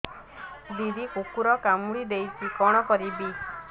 ଦିଦି କୁକୁର କାମୁଡି ଦେଇଛି କଣ କରିବି